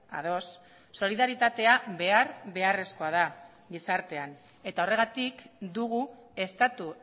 ados solidaritatea behar beharrezkoa da gizartean eta horregatik dugu estatu